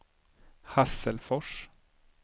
Hasselfors